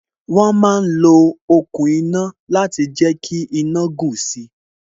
Wọn ma ń lo okùn iná láti jẹ kí iná gùn si